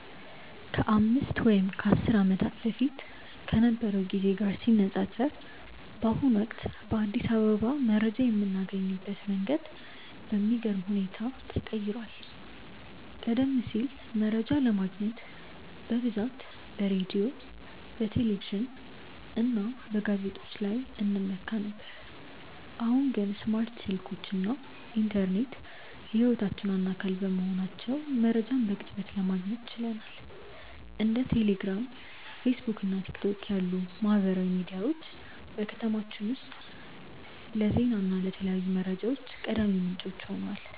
ከአምስት ወይም ከአስር ዓመታት በፊት ከነበረው ጊዜ ጋር ሲነፃፀር፣ በአሁኑ ወቅት በአዲስ አበባ መረጃ የምናገኝበት መንገድ በሚገርም ሁኔታ ተቀይሯል። ቀደም ሲል መረጃ ለማግኘት በብዛት በሬዲዮ፣ በቴሌቪዥን እና በጋዜጦች ላይ እንመካ ነበር፤ አሁን ግን ስማርት ስልኮች እና ኢንተርኔት የህይወታችን ዋና አካል በመሆናቸው መረጃን በቅጽበት ማግኘት ችለናል። እንደ ቴሌግራም፣ ፌስቡክ እና ቲክቶክ ያሉ ማህበራዊ ሚዲያዎች በከተማችን ውስጥ ለዜና እና ለተለያዩ መረጃዎች ቀዳሚ ምንጮች ሆነዋል።